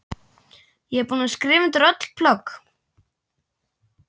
Ég er búin að skrifa undir öll plögg.